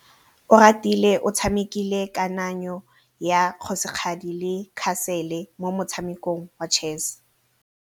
Oratile o tshamekile kananyô ya kgosigadi le khasêlê mo motshamekong wa chess.